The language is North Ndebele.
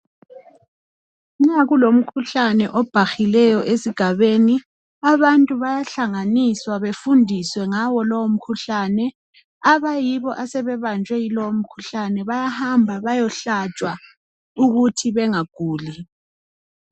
nxa kulomkhuhlane obhahileyo abantu bayahlanganiswa befundiswe ngawo lowo mkhuhlane abayibo abasebebanjwe yiwo lowo mkhuhlane bayahamba bayehlatshwaukuzebenga guli